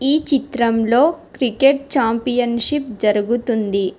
ఈ చిత్రంలో cricket championship జరుగుతుంది.